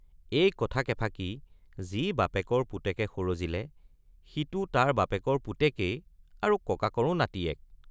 এই কথা কেফাকি যি বাপেকৰ পুতেকে সৰজিলে সিটো তাৰ বাপেকৰ পুতেকেই আৰু ককাকৰো নাতিয়েক।